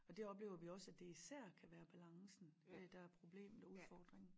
Og det oplever vi også at det især kan være balancen øh der er problemet og udfordringen